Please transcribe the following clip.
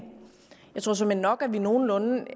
jeg tror såmænd nok at vi er nogenlunde